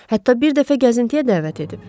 Hətta bir dəfə gəzintiyə dəvət edib.